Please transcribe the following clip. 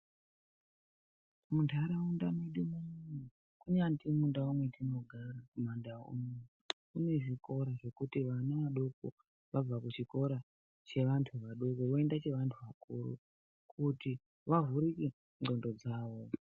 Muntaraunda medu munomu, kunyazi mundau dzatinogara kumandau, kune zvikora zvekuti ana adoko vabva kuchikora cheantua adoko voenda cheantu akuru, kuti vavhurike ndxondo dzavo.